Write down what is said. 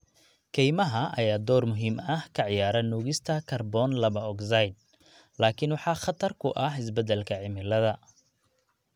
Kaymaha ayaa door muhiim ah ka ciyaara nuugista kaarboon laba ogsaydh, laakiin waxaa khatar ku ah isbeddelka cimilada.